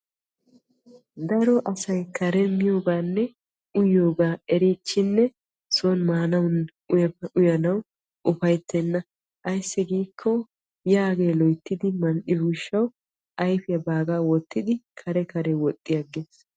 Daro asay karen miyooganne uyiyoogaa erichchinnee son maanawunne uyanawu ufaytenna. ayssi giikko yaagee loyttidi mal"iyoo gishshawu ayfiyaa wottidi kare kare woxxi aggees.